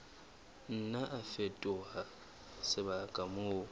nna a fetoha sebaka moo